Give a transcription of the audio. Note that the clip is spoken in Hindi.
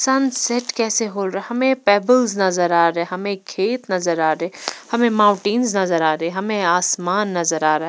सनसेट कैसे हो रहा हमें पेबल्स नजर आ रहे हैं हमें खेत नजर आ रहे हैं हमें माउंटेंस नजर आ रहे हैं हमें आसमान नजर आ रहा है।